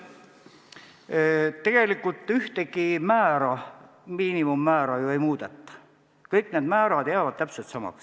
Tegelikult ühtegi miinimummäära ju ei muudeta, kõik need määrad jäävad täpselt samaks.